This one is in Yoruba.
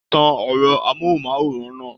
Tán ẹrọ amohunmaworan náà!